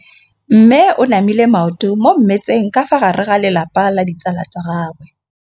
Mme o namile maoto mo mmetseng ka fa gare ga lelapa le ditsala tsa gagwe.